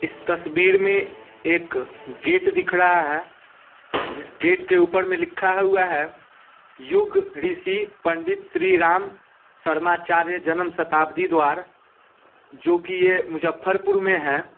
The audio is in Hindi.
इस तस्वीर में एक गेट दिख रहा है जिस गेट के ऊपर में लिखा हुआ है युग ऋषि पंडित श्री राम शर्मा चार्या जनम शताब्दी द्वार जो की ये मुजज़फ्फरपुर में है ।